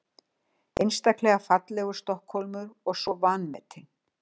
Einstaklega fallegur Stokkhólmur og svo vanmetinn.